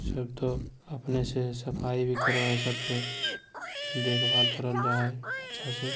सब तो अपने से सफाई भी करबाए सबके देखभाल करल जाय हेय अच्छे से---